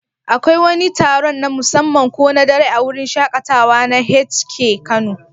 Akwai wani taron na musamman ko na dare a wurin shaƙatawa na H&K Kano?